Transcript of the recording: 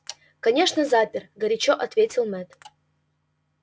конечно запер горячо ответил мэтт